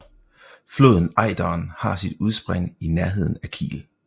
Floden Ejderen har sit udspring i nærheden af Kiel